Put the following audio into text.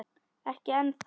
Ekki ennþá